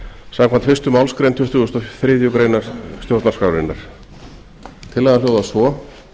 samkvæmt fyrstu málsgrein tuttugustu og þriðju grein stjórnarskrárinnar tillagan hljóðar svo